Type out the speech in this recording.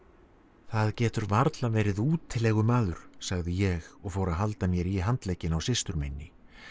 það getur varla verið útilegumaður sagði ég og fór að halda mér í handlegginn á systur minni